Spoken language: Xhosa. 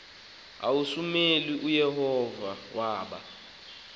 usamuweli uyehova waba